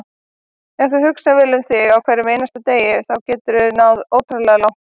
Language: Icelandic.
Ef þú hugsar vel um þig á hverjum einasta degi þá geturðu náð ótrúlega langt.